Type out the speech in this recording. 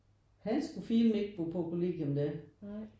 Han skulle filan ikke bo på kollegium da